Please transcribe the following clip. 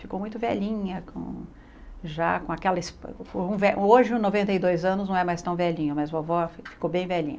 Ficou muito velhinha, com já com aquela... Hoje, noventa e dois anos, não é mais tão velhinha, mas vovó ficou bem velhinha.